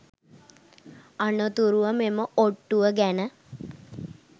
අනතුරුව මෙම ඔට්ටුව ගැන